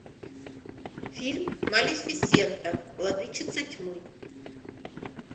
фильм малефисента владычица тьмы